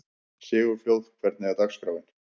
Sigurfljóð, hvernig er dagskráin?